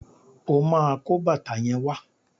O máa kó bàtà yẹn wá.